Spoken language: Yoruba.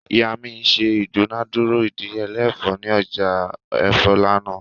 Iya mi ṣe idunadura idiyele ẹfọ ni ọja ẹfọ lánà